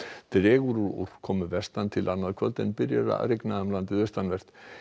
dregur úr úrkomu vestan til annað kvöld en byrjar að rigna um landið austanvert